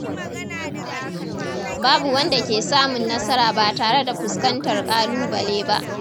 Babu wanda ke samun nasara ba tare da fuskantar ƙalubale ba.